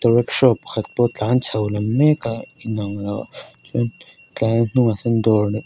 auto rickshaw pakhat pawh a tlan chho mek a chuan tlan a hnungah sawn dawr--